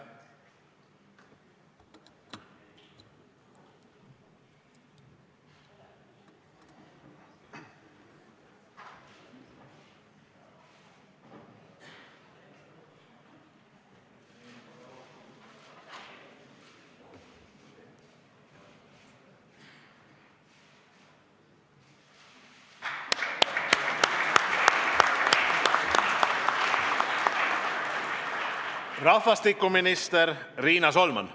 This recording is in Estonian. Rahvastikuminister Riina Solman.